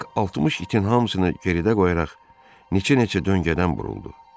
Bax 60 itin hamısını geridə qoyaraq neçə-neçə döngədən buruldu.